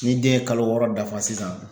Ni den ye kalo wɔɔrɔ dafa sisan